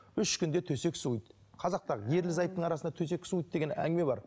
үш күнде төсек суиды қазақта ерлі зайыптың арасында төсек суиды деген әңгіме бар